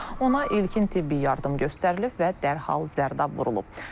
Ona ilkin tibbi yardım göstərilib və dərhal zərdab vurulub.